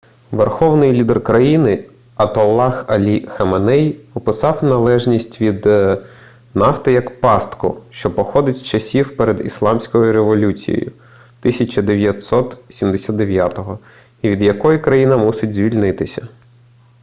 верховний лідер країни атоллах алі хаменей описав залежність від нафти як пастку що походить з часів перед ісламською революцією 1979-го і від якої країна мусить звільнитися